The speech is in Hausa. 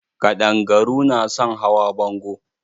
Ƙaɗangaru na son hawa bango.